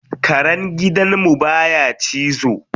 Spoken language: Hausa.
Karen gidan mu baya cizo.